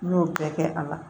N y'o bɛɛ kɛ a la